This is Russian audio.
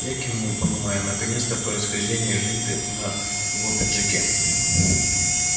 я кивнул понимая наконец-то происхождение ленты на его пиджаке